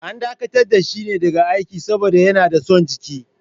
An dakatar da shi daga aiki ne saboda yana da son jiki.